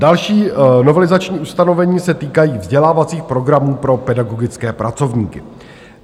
Další novelizační ustanovení se týkají vzdělávacích programů pro pedagogické pracovníky.